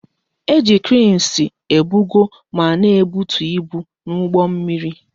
E ji kreensi ebugo ma na ebutu ibu n'ụgbọ mmiri